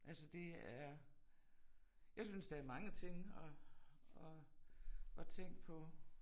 Altså det er jeg synes der er mange ting at at at tænke på